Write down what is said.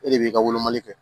E de b'i ka wolomali kɛ